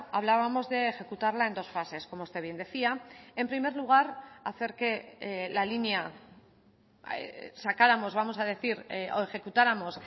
hablábamos de ejecutarla en dos fases como usted bien decía en primer lugar hacer que la línea sacáramos vamos a decir o ejecutáramos